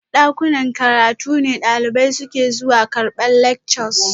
Dakunan karatu ne dalibai suke zuwa karbar lectures